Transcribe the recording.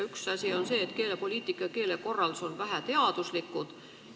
Üks asi on see, et keelepoliitika ja keelekorraldus on väheteaduslikud.